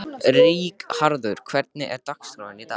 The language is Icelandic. Ríkharður, hvernig er dagskráin í dag?